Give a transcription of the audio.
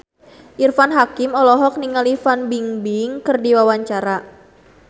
Irfan Hakim olohok ningali Fan Bingbing keur diwawancara